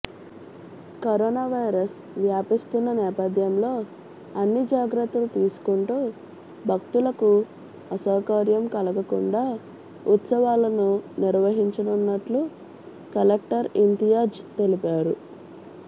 corona virus వ్యాపిస్తున్న నేపథ్యంలో అన్ని జాగ్రత్తలు తీసుకుంటూ భక్తులకు అసౌకర్యం కలగకుండా ఉత్సవాలను నిర్వహించనున్నట్లు కలెక్టర్ ఇంతియాజ్ తెలిపారు